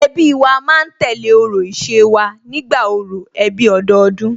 Ẹbí wa ma ń tẹ̀lé orò ìṣe wa nígbà orò ẹbí ọdọọdún